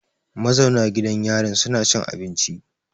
Ma zauna gidan yarin suna cin abinci.